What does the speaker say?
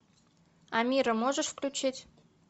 амира можешь включить